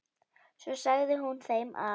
Svo sagði hún þeim að